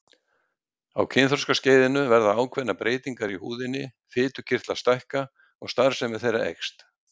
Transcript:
Á kynþroskaskeiðinu verða ákveðnar breytingar í húðinni, fitukirtlar stækka og starfsemi þeirra eykst.